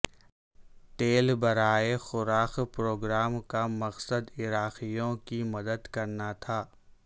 تیل برائے خوراک پروگرام کا مقصد عراقیوں کی مدد کرنا تھا